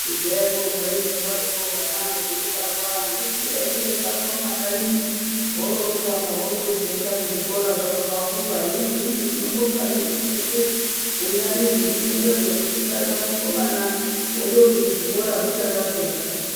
Kudhayako hwaindozwaroko hwanaho huibarwa husiyei huindotamba mumakanyimo oro votamba oro vozoenda kuzvikora hwakura. Hino zvinoizvi tinobonga ngekuti hweshe hunyari hundumurehwo, husikana, hukomana hondozi kuzvikora huchakatsonga.